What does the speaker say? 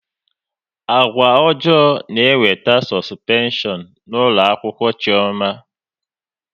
Agwa ọjọọ na-ewete sọspeshọn n'ụlọakwụkwọ Chiọma